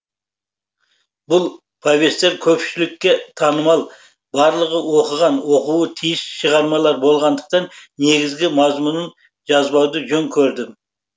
бұл повесттер көпшілікке танымал барлығы оқыған оқуы тиіс шығармалар болғандықтан негізгі мазмұнын жазбауды жөн көрдім